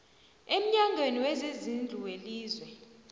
emnyangweni wezezindlu welizwe